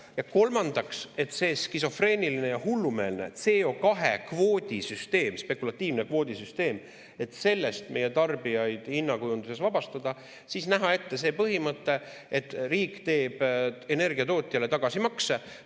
Ja kolmandaks, et sellest skisofreenilisest ja hullumeelsest CO2-kvoodi süsteemist, spekulatiivsest kvoodisüsteemist meie tarbijaid hinnakujunduses vabastada, näha ette see põhimõte, et riik teeb energiatootjale tagasimakse.